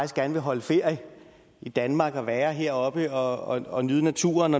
gerne vil holde ferie i danmark være heroppe og og nyde naturen